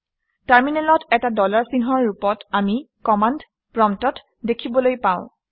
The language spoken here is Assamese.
টাৰমিনেলত এটা ডলাৰ চিহ্নৰ ৰূপত আমি কমাণ্ড প্ৰম্পট্ দেখিবলৈ পাওঁ